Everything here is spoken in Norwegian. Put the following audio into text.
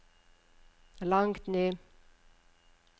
langt ned